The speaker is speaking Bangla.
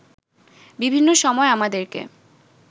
বিভিন্ন সময় আমাদেরকে